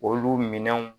Olu minɛnw